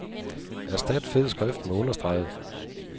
Erstat fed skrift med understreget.